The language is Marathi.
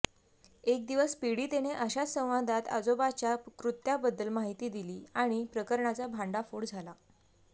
एक दिवस पीडितेने अशाच संवादात आजोबाच्या कृत्याबद्दल माहिती दिली आणि प्रकरणाचा भांडाफोड झाला